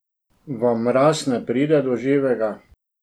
Vam mraz ne pride do živega?